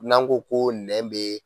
N'an ko ko nɛn bɛ.